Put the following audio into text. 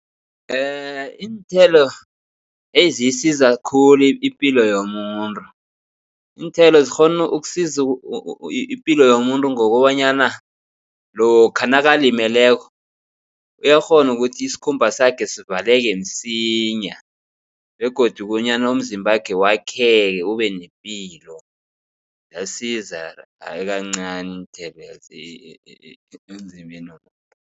Iinthelo eziyisiza khulu ipilo yomuntu. Iinthelo zikghona ukusiza ipilo yomuntu ngokobanyana lokha nakalimeleko uyakghona ukuthi isikhumba sakhe sivaleke msinya begodu bonyana umzimbakhe wakheke ube nepilo. Ziyasiza hayi kancani iinthelo ezimbeni